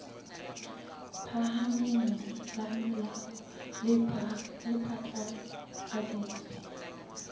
phahameng la molao le phatlaladitse